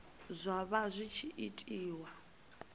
zwa vha zwi tshi itiwa